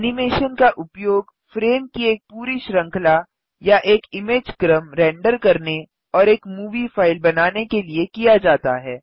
animation का उपयोग frame की एक पूरी श्रृंखला या एक इमेज़ क्रम रेंडर करने और एक मूवी फ़ाइल बनाने के लिए किया जाता है